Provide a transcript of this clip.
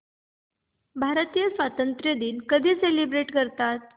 भारतीय स्वातंत्र्य दिन कधी सेलिब्रेट करतात